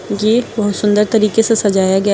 ये बहोत सुंदर तरीके से सजाया गया ह--